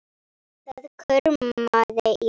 Það kumraði í honum.